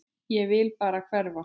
Ég vil bara hverfa.